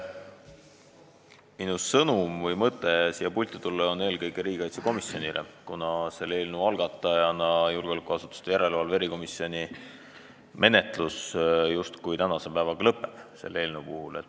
Minu sõnum siit puldist on eelkõige riigikaitsekomisjonile, kuna selle eelnõu algatajale, julgeolekuasutuste järelevalve erikomisjonile menetlus justkui tänase päevaga lõpeb.